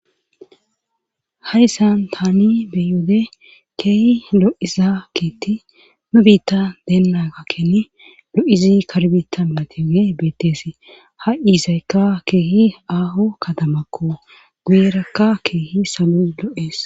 hayssan taani beyode keehi lo7iza kiiti nu biitta deenaakkeni lo7izi karbita mateoge beettees ha iizaykka keehi aaho katamakko guuyirakka keehi salo lo7ees